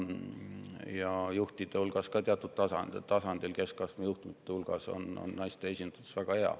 Ja juhtide hulgas ka teatud tasandil, keskastme juhtide hulgas on naiste esindatus väga hea.